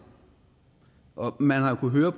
man har jo kunnet høre